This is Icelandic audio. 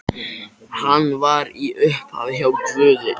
Hann var í upphafi hjá Guði.